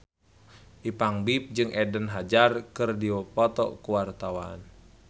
Ipank BIP jeung Eden Hazard keur dipoto ku wartawan